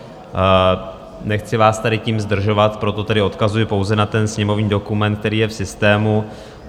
Nechci vás tady tím zdržovat, proto tedy odkazuji pouze na ten sněmovní dokument, který je v systému.